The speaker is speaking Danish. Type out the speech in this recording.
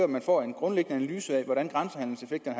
man får en grundlæggende analyse af hvordan grænsehandelseffekten